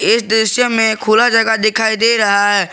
इस दृश्य में खुला जगह दिखाई दे रहा है।